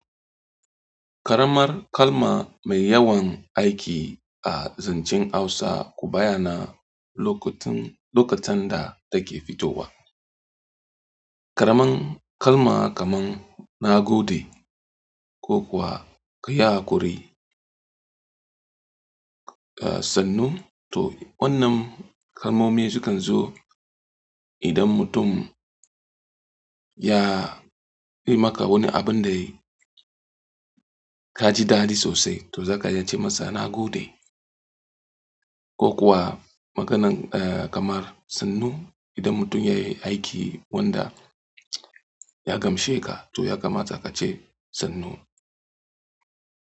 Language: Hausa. Karamar kalma mai yawan aiki a zancen Hausa, ku bayyana lokutan da take fitowa. Karamar kalma kamar "na gode" ko kuwa "ka yi hakuri", eh, "sannu". To wannan kalmomi su kan zo idan mutum ya yi maka wani abin da ka ji dadi sosai, to za ka iya ce masa "na gode". Ko kuwa maganan, eh, kamar "sannu", idan mutum ya yi aiki wanda ya gamshe ka, to ya kamata ka ce "sannu".